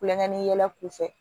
Kulonkɛ ni yɛlɛ u fɛ